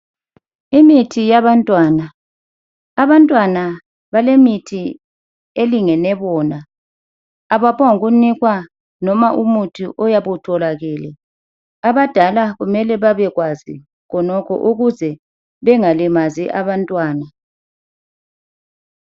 Imithi yabantwana. Abantwana balemithi elingene bona. Abaphongunikwa noma umuthi oyabe utholakele. Abadala kumele babekwazi khonokho ukuze bengalimazi abantwana.